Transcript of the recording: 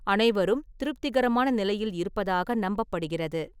அனைவரும் திருப்திகரமான நிலையில் இருப்பதாக நம்பப்படுகிறது.